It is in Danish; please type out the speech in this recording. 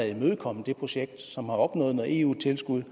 imødekommet et projekt som har opnået noget eu tilskud